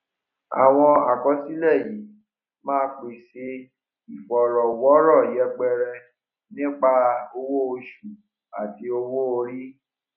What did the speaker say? àwọn àkọsílẹ yìí ma pèsè ìfọrọwọrọ yẹpẹrẹ nípa owó oṣù àti owó orí